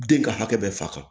Den ka hakɛ bɛɛ faga